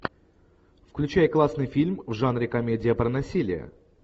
включай классный фильм в жанре комедия про насилие